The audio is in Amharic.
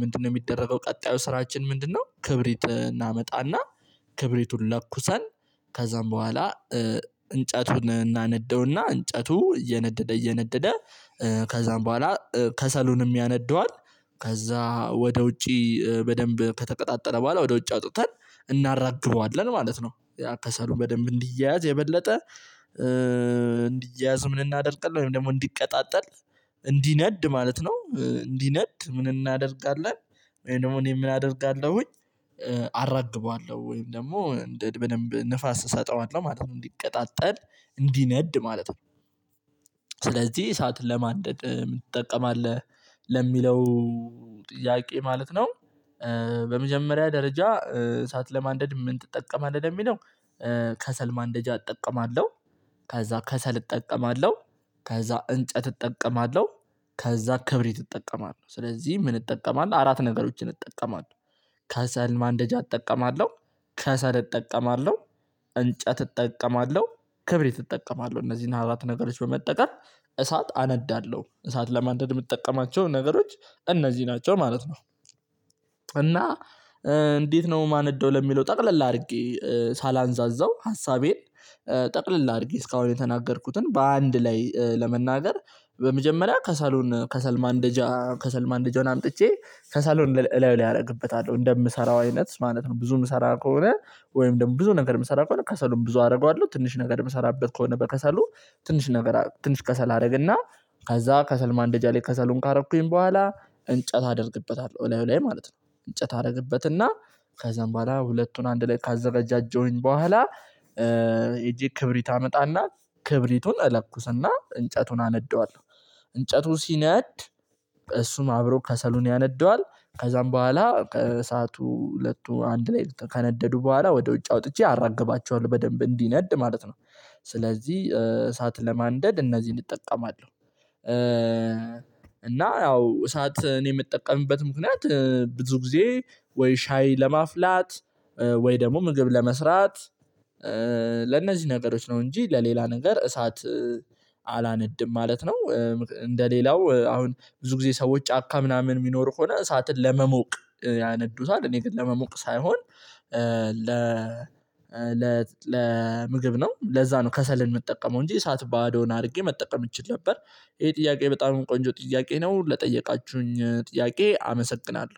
ምንድነው የሚደረገው ቀጣዩ ስራችን ምንድነው? ክብሪት እናመጣና ክብሪቱን ለኩሰን ከዛም በኋላ እንጨቱን እናነደውና እንጨቱ እየነደደ እየነደደ ከዛም በኋላ ከሰሉንም ያነደዋል። ከዛ ወደ ውጪ በደንብ ከተቀጣጠለ በኋላ ወደ ውጭ አውጥተን እናራግበዋለን ማለት ነው። ከሰሉን በደንብ እንዲያያዝ የበለጠ እንዲያያዝ ምን እናደርጋለን? ወይም ደግሞ እንዲቀጣጠል እንዲነድ ማለት ነው እንዲነድ ምን እናደርጋለን? ወይም ደግሞ እኔ ምን አደርጋለሁኝ አራግበዋለሁ ወይም ደግሞ በደንብ ንፋስ እሰጠዋለሁ ማለት ነው እንዲቀጣጠል እንዲነድ ማለት ነው። እሳት ለማደንደድ ምን ትጠቀማለህ? ለሚለው ጥያቄ ማለት ነው። በመጀመሪያ ደረጃ እሳት ለማንደድ ምን ትጠቀማለህ ለሚለው ከሰል ማንደጃ እጠቀማለሁ። ከዛ ከሰል እጠቀማለሁ። ከዛ እንጨት እጠቀማለሁ። ከዛ ክብሪት እጠቀማለው ስለዚህ ምን እጠቀማለው አራት ነገሮችን እጠቀማለው። ከሰል ማንደጃ እጠቀማለሁ ከሰል እጠቀማለሁ። እንጨት እጠቀማለሁ። ክብሪት እጠቀማለሁ እነዚህን አራት ነገሮች በመጠቀም እሳት አነዳለሁ እሳት ለማንደድ የምጠቀማቸው ነገሮች እነዚህ ናቸው ማለት ነው። እና እንዴት ነው የማነደው ለሚለው ጠቅለል አድርጌ ሳላንዛዛው ሀሳቤን ጠቅለል አድርጌ እስካሁን የተናገርኩትን በአንድ ላይ ለመናገር። በመጀመሪያ ከሰሉን ከሰል ማንደጃ ከሰል ማንደጃውን አምጥቼ ከሰሉን እላዩ ላይ አደርግበታለው እንደምሰራው አይነት ማለት ነው ብዙ ምሰራ ከሆነ ወይም ደግሞ ብዙ ነገር የምሰራ ከሆነ ከሰሉም ብዙ አደርገዋለሁ። ትንሽ ነገር የምሰራበት ከሆነ በከሰሉ ትንሽ ነገር ትንሽ ከሰል አደርግና ከዛ ከሰል ማንደጃ ላይ ከሰሉን ካረኩኝ በኋላ እንጨት አደርግበታለሁ። እላዩ ላይ ማለት ነው። እንጨት አደርግበትና ከዛም በኋላ ሁለቱን አንድ ላይ ካዘገጃጀሁኝ በኋላ ሄጄ ክብሪት አመጣና ክብሪቱን እለኩስና እንጨቱን አነደዋለሁ። እንጨቱ ሲነድ እሱም አብረው ከሰሉን ያነደዋል ከዛም በኋላ ከእሳቱ ሁለቱ አንድ ላይ ከነደዱ በኋላ ወደ ውጭ አውጥቼ አራግባቸዋለሁ በደንብ እንዲነድ ማለት ነው። ስለዚህ እሳት ለማንደድ እነዚህን እጠቀማለሁ። እና ያው እሳት እኔ የምጠቀምበት ምክንያት ብዙ ጊዜ ወይ ሻይ ለማፍላት ወይ ደግሞ ምግብ ለመስራት ለእነዚህ ነገሮች ነው እንጂ ለሌላ ነገር እሳት አላነድም ማለት ነው። እንደ ሌላው አሁን ብዙ ጊዜ ሰዎች ጫካ ምናምን የሚኖር ሆነ እሳትን ለመሞቅ ያነዱታል። እኔ ግን ለመሞቅ ሳይሆን ለ ለ ለ ምግብ ነው ለዛ ነው ከሰልን የምጠቀመው እንጂ እሳት ባዶን አድርጌ መጠቀም እችል ነበር። ይሄ ጥያቄ በጣም ቆንጆ ጥያቄ ነው። ለጠየቃችሁኝ ጥያቄ አመሰግናለሁ